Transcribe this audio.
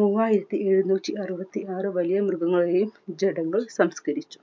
മൂവായിരത്തി എഴുന്നൂറ്റി അറുപത്തി ആറ് വലിയ മൃഗങ്ങളുടെതയും ജഡങ്ങൾ സംസ്കരിച്ചു.